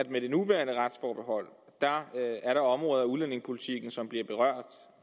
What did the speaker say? med det nuværende retsforbehold er områder af udlændingepolitikken som bliver berørt